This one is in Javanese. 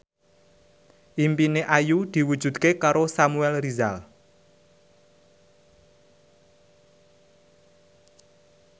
impine Ayu diwujudke karo Samuel Rizal